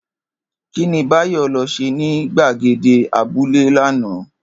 Kí ni Báyò lo̩ s̩e ní gbàgede abúlé lánàá?